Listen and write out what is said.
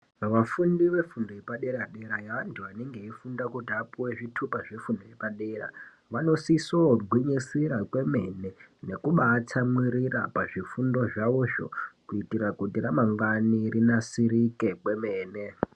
Vafundi vefundo yepadera-dera yeantu anenge eifunda kuti apuwe zvitupa zvefundo yepadera vanosisoo gwinyisira kwemene nekubaatsamwirira pazvifundo zvavozvo kuitira kuti ramangwani rinasirike kwemene.